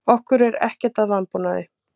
Okkur er ekkert að vanbúnaði.